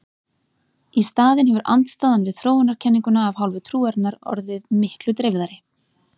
Í staðinn hefur andstaðan við þróunarkenninguna af hálfu trúarinnar orðið miklu dreifðari.